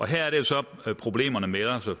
her er det jo så at problemerne melder sig